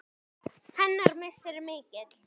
Hennar missir er mikill.